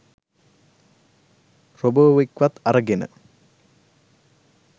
රොබෝවෙක්වත් අරගෙන